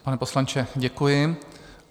Pane poslanče, děkuji.